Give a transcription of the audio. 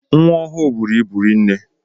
Nwa ọhụụ bụrụ ịbụ rinne.